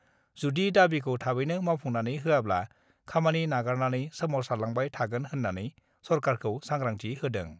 जुदि दाबिखौ थाबैनो मावफुंनानै होवाब्ला खामानि नागारनानै सोमावसारलांबाय थागोन होन्नानैबो सरकारखौ सांग्रांथि होदों।